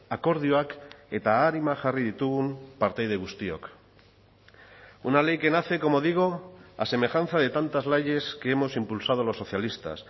akordioak eta arima jarri ditugun partaide guztiok una ley que nace como digo a semejanza de tantas leyes que hemos impulsado los socialistas